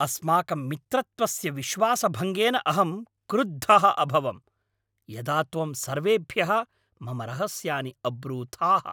अस्माकं मित्रत्वस्य विश्वासभङ्गेन अहं क्रुद्धः अभवं, यदा त्वं सर्वेभ्यः मम रहस्यानि अब्रूथाः।